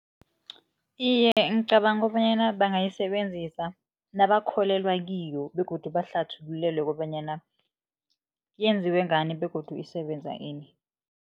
Iye, ngicabanga bonyana bangayisebenzisa nabakholelwa kiyo begodu bahlathululelwe kobanyana yenziwe ngani begodu isebenza ini.